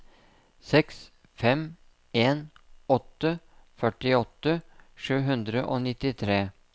seks fem en åtte førtiåtte sju hundre og nittitre